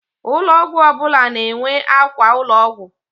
Ụlọ ọgwụ ọbụla na-enwe àkwà ụlọọgwụ.